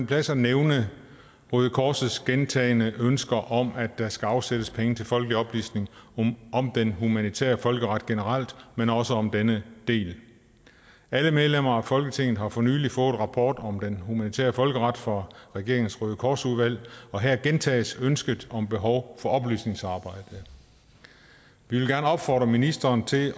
plads at nævne røde kors gentagne ønsker om at der skal afsættes penge til folkelig oplysning om den humanitære folkeret generelt men også om denne del alle medlemmer af folketinget har for nylig fået en rapport om den humanitære folkeret fra regeringens røde kors udvalg og her gentages ønsket om og behovet for oplysningsarbejde vi vil gerne opfordre ministeren til